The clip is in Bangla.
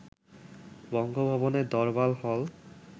বঙ্গভবনের দরবার হল